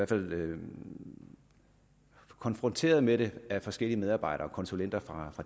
fald konfronteret med dem af forskellige medarbejdere konsulenter fra